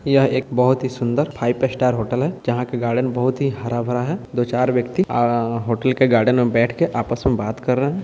यह एक बहुत ही सुन्दर फाइव स्टार होटल है जहा के गार्डन बहुत ही हरा-भरा है दो-चार व्यक्ति आ-- होटल के गार्डन में बैठ के आपस में बात कर रहे है।